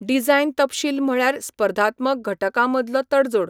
Design तपशील म्हळ्यार स्पर्धात्मक घटकांमदलो तडजोड.